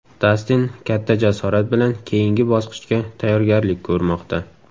Dastin katta jasorat bilan keyingi bosqichga tayyorgarlik ko‘rmoqda.